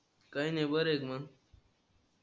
काही नाही बर मंग.